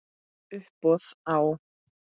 Uppboð á